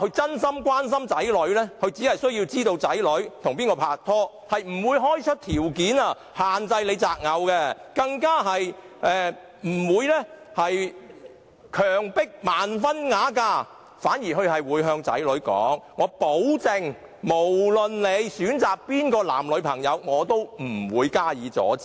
真心關心子女的好父母，只需知道子女跟誰人拍拖，而不會開出條件，限制他們擇偶，更不會強迫他們盲婚啞嫁；他們反而會向子女保證，無論選擇誰人作為男、女朋友，也不會阻止。